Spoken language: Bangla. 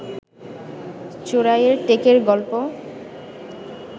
চোরাইয়ের টেকের গল্প